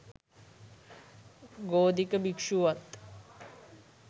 ගෝධික භික්ෂුවත්